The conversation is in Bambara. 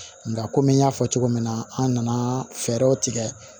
Nka kɔmi n y'a fɔ cogo min na an nana fɛɛrɛw tigɛ